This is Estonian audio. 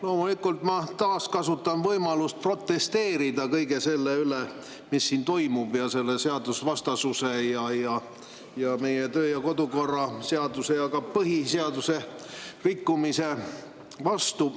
Loomulikult, ma kasutan taas võimalust protesteerida kõige selle vastu, mis siin toimub, selle seadusvastasuse, meie töö- ja kodukorra seaduse ja ka põhiseaduse rikkumise vastu.